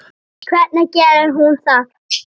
Hvernig gerir hún það?